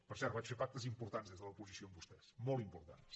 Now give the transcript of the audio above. per cert vaig fer pactes importants des de l’oposició amb vostès molt importants